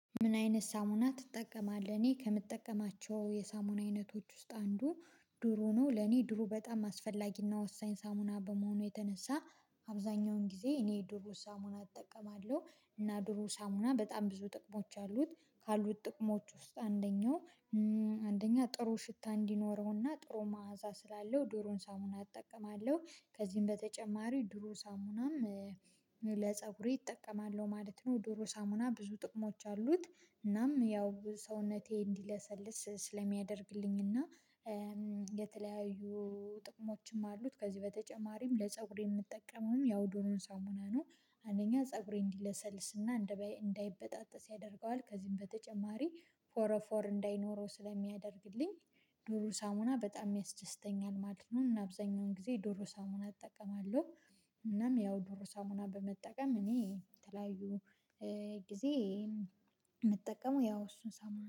ምን አይነት ሳሙና ትጠቀማለህ? እኔ ከምጠቀማቸው የሳሙና አይነቶች ውስጥ አንዱ ድሩ ነው ለኔ ድሩ በጣም አስፈላጊና ወሳኝ ሳሙና በመሆኑ የተነሳ አብዛኛውን ጊዜ እኔ ድሩ ሳሙና እጠቀማለሁ። እና ድሮ ሳሙና በጣም ብዙ ጥቅሞች አሉት ካሉት ጥቅሞች ውስጥ አንደኛው አንደኛ ጥሩ ሽታ እንዲኖረውና ጥሩ መዓዛ ስላለው ድሩን ሳሙና እጠቀማለሁ ከዚህም በተጨማሪ ዱሩሳሙናም ለፀጉሬ እጠቀማለሁ ማለት ነው። ዱሩ ሳሙና ብዙ ጥቅሞች አሉት እናም ያው ሰውነቴ እንዲለሰልስ ስለሚያደርግልኝ እና የተለያዩ ጥቅሞችም አሉት ከዚህ በተጨማሪም ለፀጉሬ የምጠቀመውም ያው ዱሩን ሳሙና ነው። አንደኛ ፀጉሬ እንዲለሰልስና እንዳይበጣጠስ ያደርገዋል ከዚህም በተጨማሪ ፎረፎር እንዳይኖረው ስለሚያደርግልኝ ዱሩ ሳሙና በጣም ያስደስተኛል ማለት ነው። እና አብዛኛውን ጊዜ ዶሮ ሳሙና እጠቀማለሁ። እናም ያው ዱሩ ሳሙና በመጠቀም እኔ የተለያዩ ጊዜ የምጠቀመው ያው እሱን ሳሙና